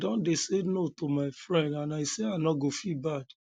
i don dey say no to my friends and i no go feel bad